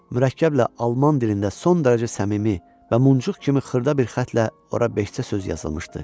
Mürəkkəblə alman dilində son dərəcə səmimi və muncuq kimi xırda bir xətlə ora beşcə söz yazılmışdı.